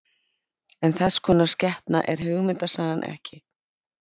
En þess konar skepna er hugmyndasagan ekki.